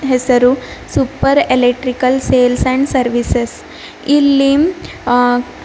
ಹೆಸರು super electrical sales and services ಇಲ್ಲಿ ಅ--